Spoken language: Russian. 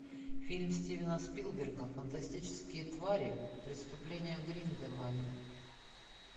фильм стивена спилберга фантастические твари преступления грин де вальда